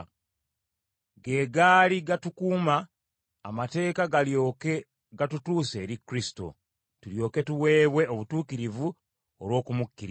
ge gaali gatukuuma, amateeka galyoke gatutuuse eri Kristo, tulyoke tuweebwe obutuukirivu olw’okumukkiriza.